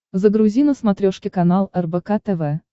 загрузи на смотрешке канал рбк тв